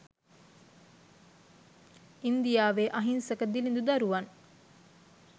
ඉන්දියාවේ අහිංසක දිළිඳු දරුවන්